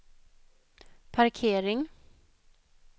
parkering